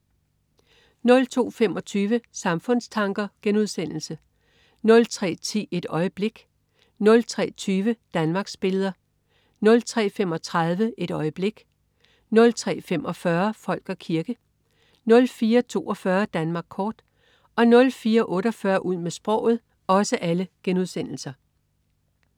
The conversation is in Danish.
02.25 Samfundstanker* 03.10 Et øjeblik* 03.20 Danmarksbilleder* 03.35 Et øjeblik* 03.45 Folk og kirke* 04.42 Danmark kort* 04.48 Ud med sproget*